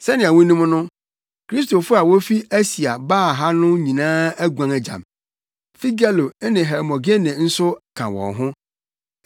Sɛnea wunim no, Kristofo a wofi Asia baa ha no nyinaa aguan agya me. Figelo ne Hermogene nso ka wɔn ho.